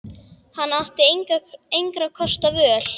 Hann átti engra kosta völ.